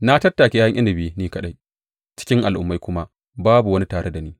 Na tattake ’ya’yan inabi ni kaɗai; cikin al’ummai kuma babu wani tare da ni.